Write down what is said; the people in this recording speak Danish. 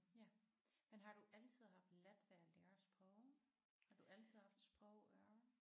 Ja men har du altid haft let ved at lære sprog? Har du altid haft sprogøre?